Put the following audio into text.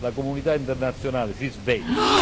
La comunità internazionale si svegli!